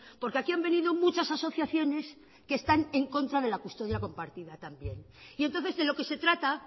porque aquí han venido muchas asociaciones que están en contra de la custodia compartida también y entonces de lo que se trata